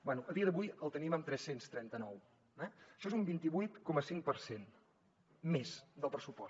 bé a dia d’avui el tenim amb tres cents i trenta nou eh això és un vint vuit coma cinc per cent més del pressupost